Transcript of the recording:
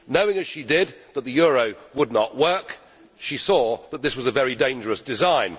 Knowing as she did that the euro would not work, she saw that this was a very dangerous design.